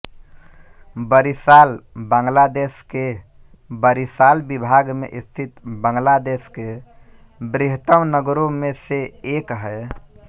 बरिशाल बांग्लादेश के बरिशाल विभाग में स्थित बांग्लादेश के बृहत्तम् नगरों में से एक है